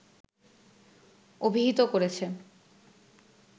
অভিহিত করেছে